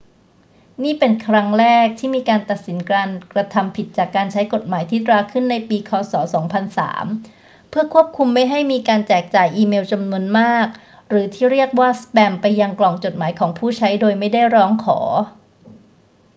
นี่เป็นครั้งแรกที่มีการตัดสินการกระทำผิดจากการใช้กฎหมายที่ตราขึ้นในปี ค. ศ. 2003 เพื่อควบคุมไม่ให้มีการแจกจ่ายอีเมลจำนวนมากหรือที่เรียกว่าสแปมไปยังกล่องจดหมายของผู้ใช้โดยไม่ได้ร้องขอ